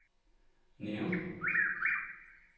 Nærum